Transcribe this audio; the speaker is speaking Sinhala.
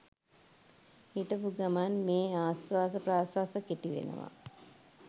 හිටපු ගමන් මේ ආශ්වාස ප්‍රශ්වාස කෙටි වෙනවා.